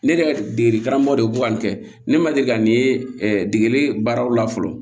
Ne yɛrɛ degeli karamɔgɔ de ko ka nin kɛ ne ma deli ka nin ye degeli baaraw la fɔlɔ